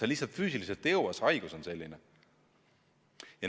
Sa lihtsalt füüsiliselt ei jõua, see haigus on selline.